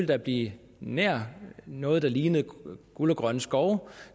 der blive nær noget der lignede guld og grønne skove